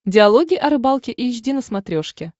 диалоги о рыбалке эйч ди на смотрешке